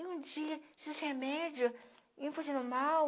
E um dia, esses remédios iam funcionando mal,